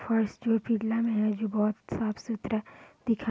फर्श जो है पीला में है जो बहोत साफ़-सुथरा दिखा --